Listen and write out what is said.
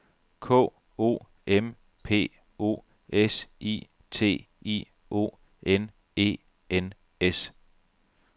K O M P O S I T I O N E N S